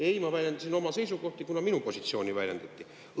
Ei, ma väljendasin oma seisukohti, kuna minu positsiooni.